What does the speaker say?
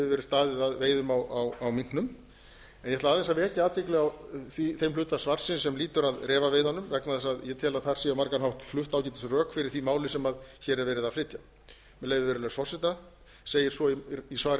hefur verið staðið að veiðum á minknum en ég ætla aðeins að vekja athygli á þeim hluta svarsins sem lýtur að refaveiðunum vegna þess að ég tel að þar séu á margan hátt flutt ágætisrök fyrir því máli sem þar er verið að flytja með leyfi virðulegs forseta segir svo í svari